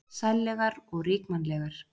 Sællegar og ríkmannlegar.